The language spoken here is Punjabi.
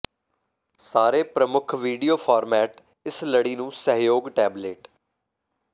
ਸਾਰੇ ਪ੍ਰਮੁੱਖ ਵੀਡੀਓ ਫਾਰਮੈਟ ਇਸ ਲੜੀ ਨੂੰ ਸਹਿਯੋਗ ਟੈਬਲੇਟ